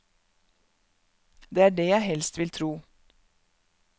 Det er det jeg helst vil tro.